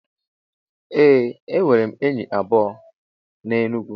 Ee enwerem enyi abuo n'Enugwu.